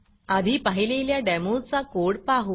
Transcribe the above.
आधी पाहिलेल्या डेमोचा कोड पाहू